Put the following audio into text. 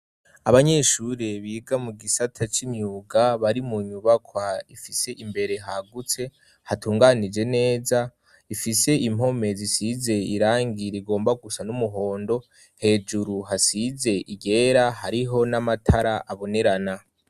Abanyeshure biga mu gisata c'imyuga bari mu nyubakwa ifise imbere hagutse, hatunganije neza, ifise impome zisize irangi rigomba gusa n'umuhondo; hejuru hasize iryera, hariho n'amatara abonerana.